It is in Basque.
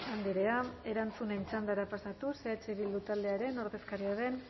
andrea erantzunen txandara pasatuz eh bildu taldearen ordezkaria den